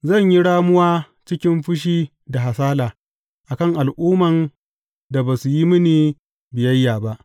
Zan yi ramuwa cikin fushi da hasala a kan al’umman da ba su yi mini biyayya ba.